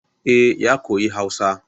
Eh ya koyi Hausa